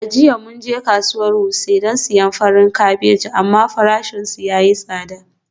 A jiya mun je kasuwar wuse don siyan farin kabeji amma farashinsu ya yi tsada.